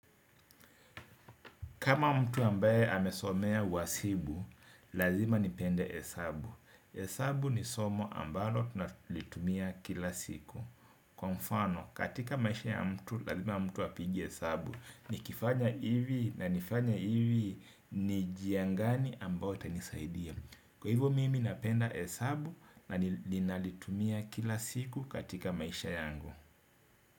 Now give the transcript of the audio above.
Kama mtu ambaye amesomea uasibu, lazima nipende hesabu. Hesabu ni somo ambalo tunalitumia kila siku. Kwa mfano, katika maisha ya mtu, lazima mtu apige hesabu. Nikifanya hivi na nifanye hivi ni jia ngani ambao itanisaidia. Kwa hivyo mimi napenda hesabu na ninalitumia kila siku katika maisha yangu.